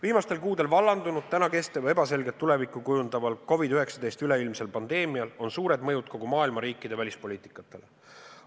Viimastel kuudel vallandunud, praegu kestval ja ebaselget tulevikku kujundaval COVID-19 üleilmsel pandeemial on suur mõju kogu maailma riikide välispoliitikale.